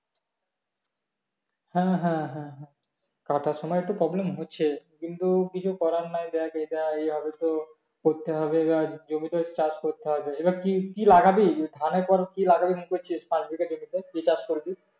হ্যাঁ হ্যাঁ হ্যাঁ হ্যাঁ কাটার সময় একটু problem হচ্ছে কিন্তু কিছু করার নেই দেখ এটা এইভাবে তো করতে হবে বা জমিতে চাষ করতে হবে এবার কি কি লাগাবি ধানের পর কি লাগাবি না কি করছিস পাঁচ বিঘা জমিতে কি চাষ করবি?